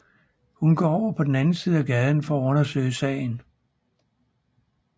Hun går over på den anden side af gaden for at undersøge sagen